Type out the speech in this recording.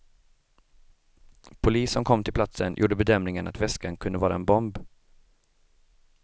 Polis som kom till platsen gjorde bedömningen att väskan kunde vara en bomb.